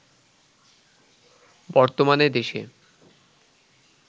বর্তমানে দেশে